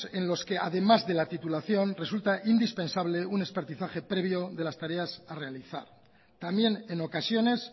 en los que además de la titulación resulta indispensable una espertizaje previo de las tareas a realizar también en ocasiones